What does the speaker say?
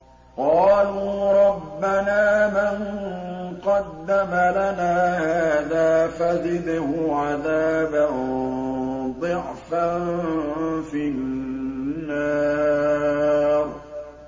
قَالُوا رَبَّنَا مَن قَدَّمَ لَنَا هَٰذَا فَزِدْهُ عَذَابًا ضِعْفًا فِي النَّارِ